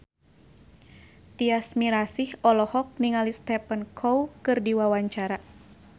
Tyas Mirasih olohok ningali Stephen Chow keur diwawancara